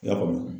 I y'a faamu